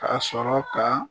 K'a sɔrɔ ka